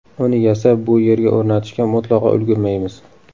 Uni yasab bu yerga o‘rnatishga mutlaqo ulgurmaymiz.